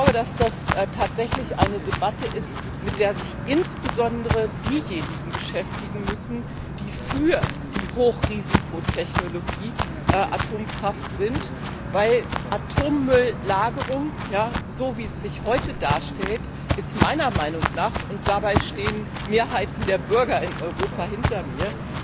Das ist tatsächlich eine Debatte, mit der sich insbesondere diejenigen beschäftigen müssen, die für die Hochrisikotechnologie Atomkraft sind, weil Atommülllagerung, so wie es sich heute darstellt meiner Meinung nach und dabei stehen Mehrheiten der Bürger in Europa hinter mir